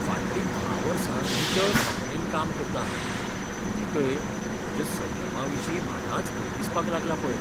फाटलीं धा वर्सां नितळ भावनेन काम करतां हांव, तरीकय म्हज्या संयमाविशीं म्हाकाच भंय दिसपाक लागला पळय.